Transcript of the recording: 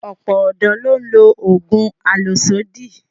Ọ̀pọ̀ ọ̀dọ́ ló ń lo oògùn àlòsódì